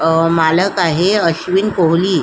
अ मालक आहे अश्विन कोहली --